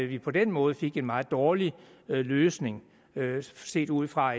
vi på den måde fik en meget dårlig løsning set ud fra